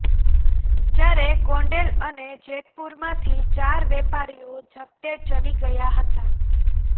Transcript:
જ્યારે ગોંડલ અને જેતપુરમાંથી ચાર વેપારીઓ ઝપટે ચડી ગયા હતા